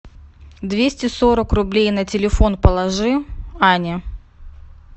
двести сорок рублей на телефон положи ане